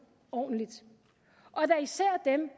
ordentligt og da især dem